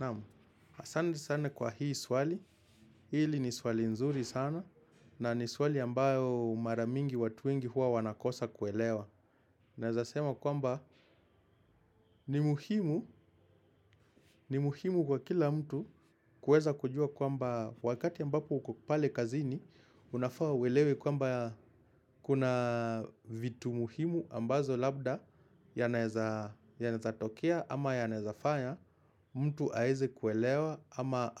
Naam, asante sana kwa hii swali, hili ni swali nzuri sana, na ni swali ambayo mara mingi watu wengi huwa wanakosa kuelewa. Nawezasema kwamba ni muhimu, ni muhimu kwa kila mtu kuweza kujua kwamba wakati ambapo uko pale kazini, unafaa uelewe kwamba kuna vitu muhimu ambazo labda yanaweza tokea ama yanaweza fanya. Mtu aweze kuelewa ama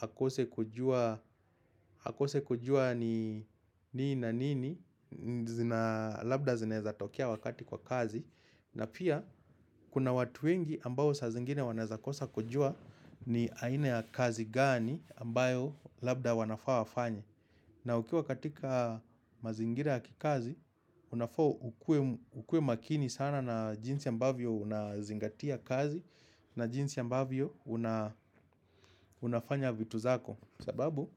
akose kujua ni nini na nini. Labda zinaweza tokea wakati kwa kazi na pia kuna watu wengi ambao sa zingine wanawezakosa kujua ni aina ya kazi gani ambayo labda wanafaa wafanye na ukiwa katika mazingira ya kikazi, unafaa ukue makini sana na jinsi ambavyo unazingatia kazi na jinsi ambavyo unafanya vitu zako. Sababu,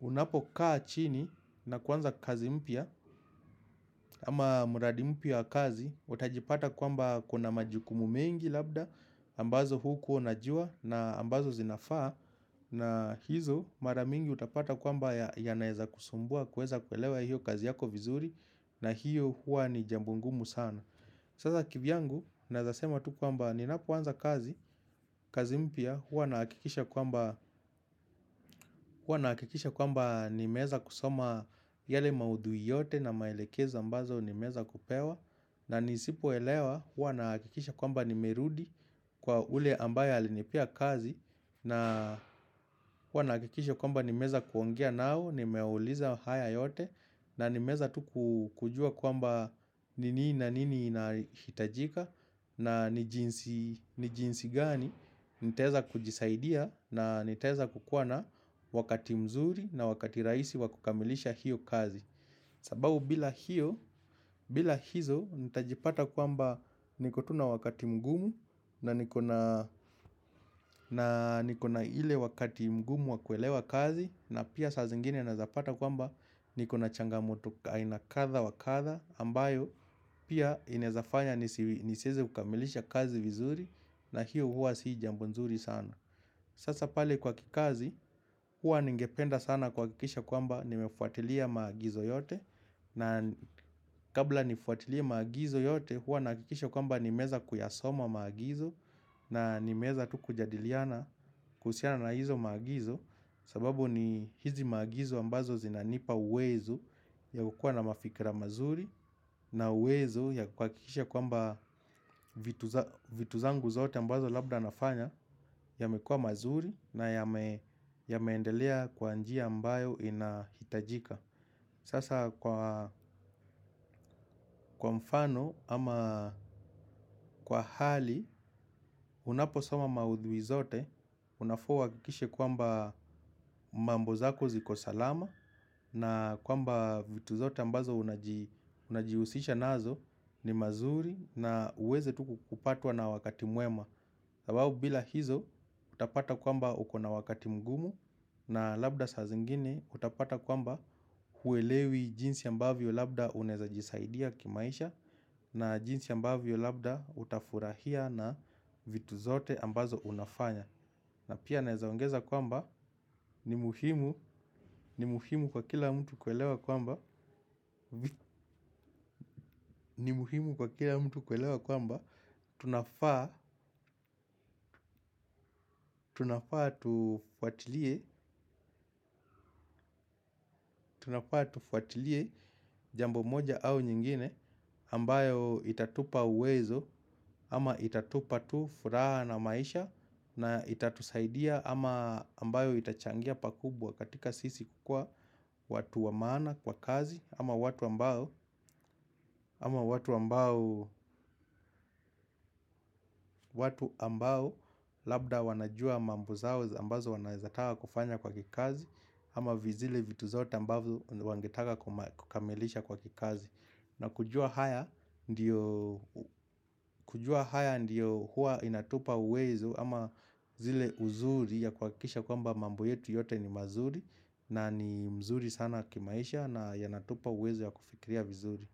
unapokaa chini na kuanza kazi mpya ama mradi mpya ya kazi, utajipata kwamba kuna majukumu mengi labda, ambazo hukuwa unajua na ambazo zinafaa. Na hizo mara mingi utapata kwamba yanaweza kukusumbua kuweza kuelewa hiyo kazi yako vizuri na hiyo huwa ni jambo ngumu sana. Sasa kivyangu nawezasema tu kwamba ninapoanza kazi, kazi mpya huwa nahakikisha kwamba nimeweza kusoma yale maudhui yote na maelekezo ambazo nimeweza kupewa na nisipoelewa huwa nahakikisha kwamba nimerudi kwa yule ambaye alinipea kazi na huwa nahakikisha kwamba nimeweza kuongea nao nimeuliza haya yote na nimeweza tu kujua kwamba ni nini na nini inahitajika na ni jinsi gani nitaweza kujisaidia na nitaweza kukuwa na wakati mzuri na wakati rahisi wa kukamilisha hiyo kazi. Sababu bila hiyo, bila hizo, nitajipata kwamba niko tu na wakati mgumu na nikona ile wakati mgumu wa kuelewa kazi na pia saa zingine nawezapata kwamba nikona changamoto aina kadha wa kadha ambayo pia inawezafanya nisiweze kukamilisha kazi vizuri na hiyo huwa si jambo nzuri sana. Sasa pale kwa kikazi, huwa ningependa sana kuhakikisha kwamba nimefuatilia maagizo yote na kabla nifuatilie maagizo yote, huwa nahakikisha kwamba nimeweza kuyasoma maagizo na nimeweza tu kujadiliana kuhusiana na hizo maagizo. Sababu ni hizi maagizo ambazo zinanipa uwezo ya kukuwa na mafikra mazuri na uwezo ya kuhakikisha kwamba vitu zangu zote ambazo labda nafanya yamekuwa mazuri na yameendelea kwa njia ambayo inahitajika. Sasa kwa mfano ama kwa hali unaposoma maudhui zote unafaa uhakikishe kwamba mambo zako ziko salama na kwamba vitu zote ambazo unajihusisha nazo ni mazuri na uweze tu kupatwa na wakati mwema sababu bila hizo utapata kwamba ukona wakati mgumu na labda saa zingine utapata kwamba huelewi jinsi ambavyo labda unawezajisaidia kimaisha na jinsi ambavyo labda utafurahia na vitu zote ambazo unafanya na pia nawezaongeza kwamba ni muhimu kwa kila mtu kuelewa kwamba ni muhimu kwa kila mtu kuelewa kwamba tunafaa tufuatilie jambo moja au nyingine ambayo itatupa uwezo ama itatupa tu furaha na maisha na itatusaidia ama ambayo itachangia pakubwa katika sisi kukuwa watu wa maana kwa kazi ama watu ambao labda wanajua mambo zao ambazo wanaweza taka kufanya kwa kikazi ama zile vitu zote ambavyo wangetaka kukamilisha kwa kikazi na kujua haya ndiyo huwa inatupa uwezo ama zile uzuri ya kuhakikisha kwamba mambo yetu yote ni mazuri na ni mzuri sana kimaisha na yanatupa uwezo ya kufikiria vizuri.